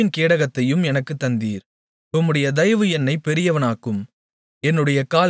உம்முடைய இரட்சிப்பின் கேடகத்தையும் எனக்குத் தந்தீர் உம்முடைய தயவு என்னைப் பெரியவனாக்கும்